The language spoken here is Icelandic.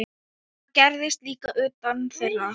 Það gerðist líka utan þeirra.